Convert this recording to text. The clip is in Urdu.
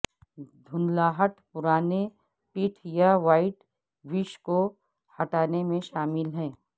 دھندلاہٹ پرانے پٹھ یا وائٹ ویش کو ہٹانے میں شامل ہے